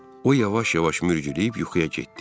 O yavaş-yavaş mürgüləyib yuxuya getdi.